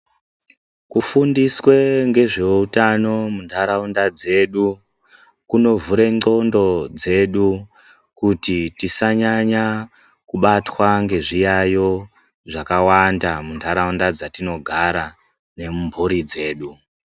Kufundiswe ngezveutano muntaraunda dzedu kunovhure ndxondo dzedu kuti tisanyanya kubatwa ngezviyaiyo zvakawanda muntaraunda dzatinogara nemburi dzedu.